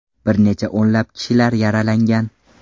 Bir necha o‘nlab kishilar yaralangan.